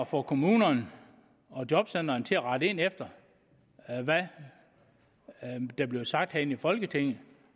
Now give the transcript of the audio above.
få kommunerne og jobcentrene til at rette ind efter hvad der bliver sagt herinde i folketinget